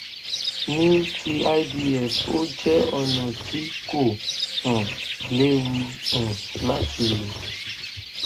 ní ti ivf ó jẹ ọnà tí kò um léwu um láti lò